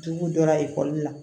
Dugu jɔra ekɔli la